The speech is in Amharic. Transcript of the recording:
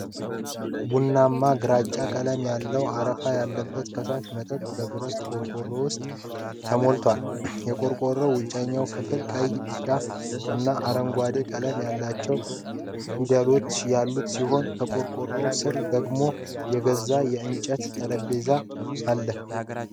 ቡናማ-ግራጫ ቀለም ያለው፣ አረፋ ያላት ፈሳሽ መጠጥ በብረት ቆርቆሮ ውስጥ ተሞልታለች። የቆርቆሮው ውጫዊ ክፍል ቀይ፣ ቢጫ እና አረንጓዴ ቀለም ያላቸው ፊደሎች ያሉት ሲሆን፣ ከቆርቆሮው ስር ደግሞ የዛገ የእንጨት ጠረጴዛ አለ።